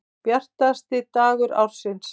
Bjartasti dagur ársins.